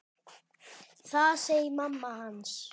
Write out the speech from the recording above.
Það segir mamma hans.